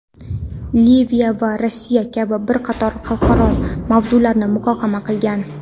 Liviya va Rossiya kabi bir qator xalqaro mavzularni muhokama qilgan.